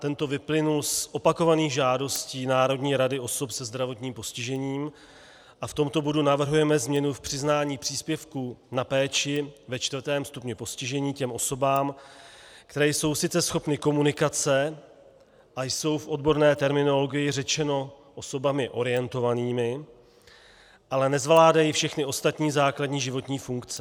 Ten vyplynul z opakovaných žádostí Národní rady osob se zdravotním postižením a v tomto bodu navrhujeme změnu v přiznání příspěvků na péči ve čtvrtém stupni postižení těm osobám, které jsou sice schopny komunikace a jsou v odborné terminologii řečeno osobami orientovanými, ale nezvládají všechny ostatní základní životní funkce.